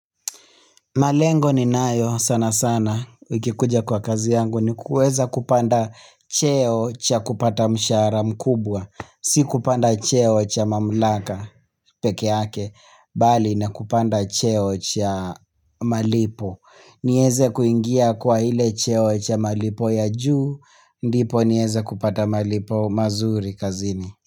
Malengo ninayo sana sana ikikuja kwa kazi yangu ni kuweza kupanda cheo cha kupata mshahara mkubwa. Si kupanda cheo cha mamlaka pekeake, bali ni kupanda cheo cha malipo. Nieze kuingia kwa ile cheo cha malipo ya juu, ndipo nieze kupata malipo mazuri kazini.